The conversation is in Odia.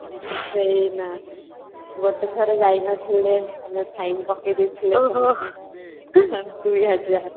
ଗୋଟେ ଥର ଯାଇନଥିଲେ ଆମର fine ପକେଇଦେଇଥିଲେ ତାପରେ ତ same ଦୁଇ ହଜାର